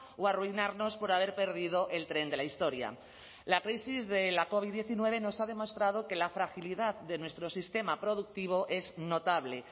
o arruinarnos por haber perdido el tren de la historia la crisis de la covid diecinueve nos ha demostrado que la fragilidad de nuestro sistema productivo es notable